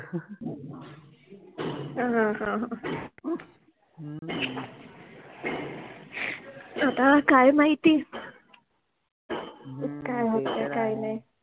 अह ह ह म ह्म ह, आता काय माहिति, काय होते काय नाहि